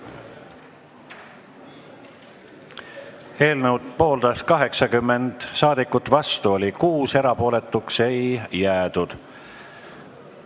Hääletustulemused Eelnõu pooldas 80 saadikut, vastu oli 6, erapooletuks ei jäädud.